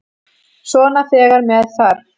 Svona þegar með þarf.